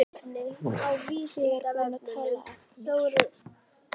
Ég er búinn að tala af mér.